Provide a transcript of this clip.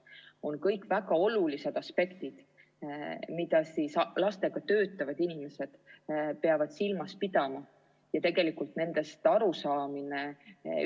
Need on kõik väga olulised aspektid, mida lastega töötavad inimesed peavad silmas pidama ja tegelikult nendest arusaamine